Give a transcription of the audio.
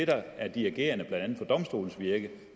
der er dirigerende for blandt andet domstolens virke